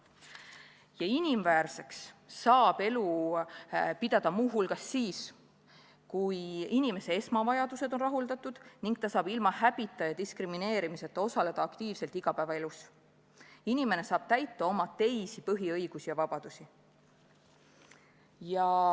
Ja inimväärseks saab elu pidada muu hulgas siis, kui inimese esmavajadused on rahuldatud ning ta saab ilma häbita ja diskrimineerimiseta osaleda aktiivselt igapäevaelus ning saab kasutada oma teisi põhiõigusi ja -vabadusi.